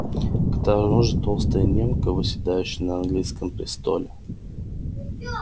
к тому же толстая немка восседающая на английском престоле всё